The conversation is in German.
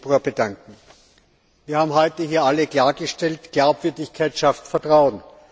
8. Februar bedanken. Wir haben heute hier alle klargestellt Glaubwürdigkeit schafft Vertrauen.